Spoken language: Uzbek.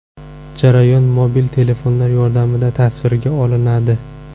Jarayon mobil telefonlar yordamida tasvirga olinadi.